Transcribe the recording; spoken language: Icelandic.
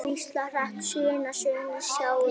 Hvíslar hratt: Sunna, Sunna, sjáðu!